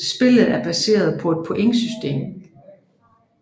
Spillet er baseret på et pointsystem